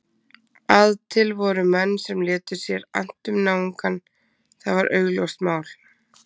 Að til voru menn sem létu sér annt um náungann, það var augljóst mál.